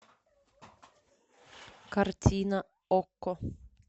картина окко